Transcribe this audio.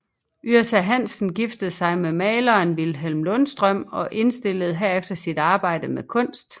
Yrsa Hansen giftede sig med maleren Vilhelm Lundstrøm og indstillede herefter sit arbejde med kunst